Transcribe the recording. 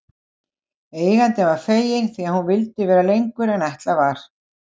Eigandinn var feginn því að hún vildi vera lengur en ætlað var.